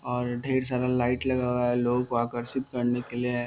और ढेर सारा लाइट लगा हुआ है लोगों को आकर्षित करने के लिए।